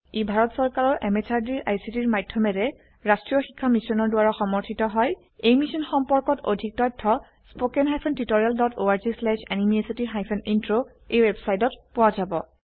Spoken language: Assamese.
ই ভাৰত চৰকাৰৰ MHRDৰ ICTৰ মাধয়মেৰে ৰাস্ত্ৰীয় শিক্ষা মিছনৰ দ্ৱাৰা সমৰ্থিত হয় এই মিশ্যন সম্পৰ্কত অধিক তথ্য spoken hyphen tutorial dot org slash এনএমইআইচিত হাইফেন ইন্ট্ৰ ৱেবচাইটত পোৱা যাব